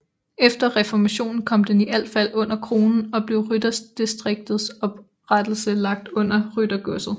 Efter Reformationen kom den i al fald under kronen og blev ved rytterdistriktets oprettelse lagt under ryttergodset